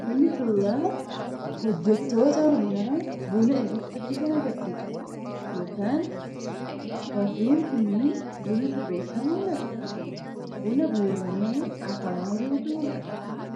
Kun suuraa hojjettoota humnaa buna irratti hojjetan agarsiisa yookaan warreen kunniin buna sirreessaa mul'atu, buna guuramee hafamaa jirutu mul'ata.